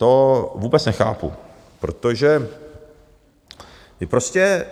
To vůbec nechápu, protože vy prostě